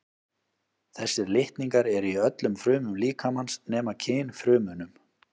þessir litningar eru í öllum frumum líkamans nema kynfrumunum